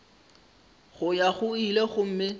go ya go ile gomme